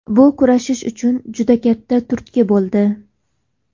Bu kurashish uchun juda katta turtki bo‘ldi.